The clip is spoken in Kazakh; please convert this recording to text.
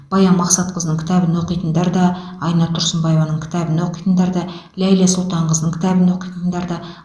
баян мақсатқызының кітабын оқитындар да айнұр тұрсынбаеваның кітабын оқитындар да ләйлә сұлтанқызының кітабын оқитындар да